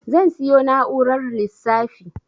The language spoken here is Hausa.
Zan siyo na'urar lissafi